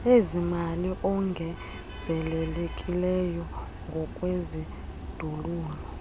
ezimali ongezelelekileyo ngokwezindululo